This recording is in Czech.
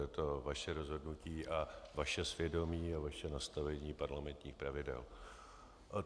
Je to vaše rozhodnutí a vaše svědomí a vaše nastavení parlamentních pravidel.